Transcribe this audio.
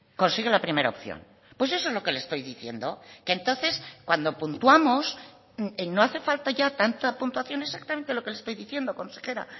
consigue la primera opción pues eso es lo que le estoy diciendo que entonces cuando puntuamos no hace falta ya tanta puntuación exactamente lo que le estoy diciendo consejera